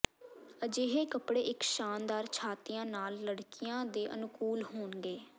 ਅਜਿਹੇ ਕੱਪੜੇ ਇਕ ਸ਼ਾਨਦਾਰ ਛਾਤੀਆਂ ਨਾਲ ਲੜਕੀਆਂ ਦੇ ਅਨੁਕੂਲ ਹੋਣਗੇ